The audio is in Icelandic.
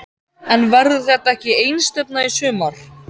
En verður þetta ekki einstefna í sumar?